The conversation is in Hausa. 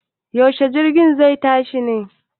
Yaushe jirgin zai tashi ne?